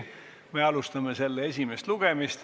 Me alustame selle esimest lugemist.